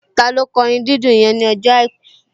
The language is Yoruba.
Taló kọ orin dídùn yẹn ní ọjọ́ àìkú?